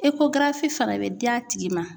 fana bɛ di a tigi ma.